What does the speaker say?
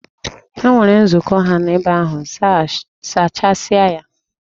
Ha nwere nzukọ ha n'ebe ahụ, zachasịa ya!